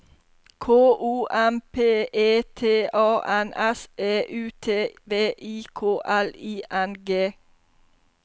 K O M P E T A N S E U T V I K L I N G